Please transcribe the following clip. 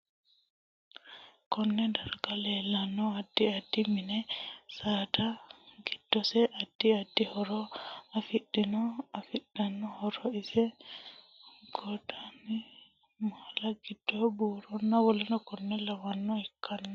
Konne darga leeltanno addi additi mini saada giddose addi addi horo afidhinote afidhino horo ise goddoni maala, addo, buuronna WKL Lawanore ikkanno